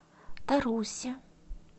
тарусе